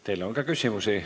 Teile on ka küsimusi.